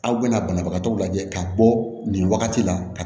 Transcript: Aw bɛna banabagatɔw lajɛ ka bɔ nin wagati la